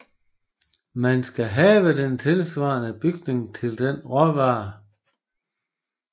Man skal have den tilsvarende bygning til den råvare